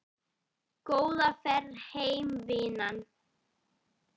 Góða ferð heim vinan.